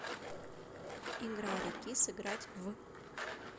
игра реки сыграть в